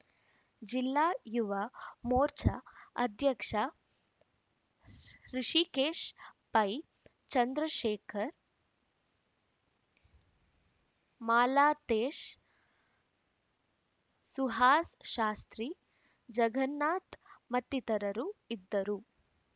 ಜಿಲ್ಲಾ ಯುವ ಮೋರ್ಚಾ ಅಧ್ಯಕ್ಷ ಹೃಷಿಕೇಶ್‌ ಪೈ ಚಂದ್ರಶೇಖರ್‌ ಮಾಲತೇಶ್‌ ಸುಹಾಸ್‌ ಶಾಸ್ತ್ರೀ ಜಗನ್ನಾಥ್‌ ಮತ್ತಿತರರು ಇದ್ದರು